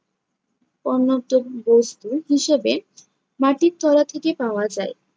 বস্তু হিসেবে মাটির তলা থেকে পাওয়া যায়।